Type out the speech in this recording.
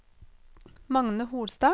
Magne Holstad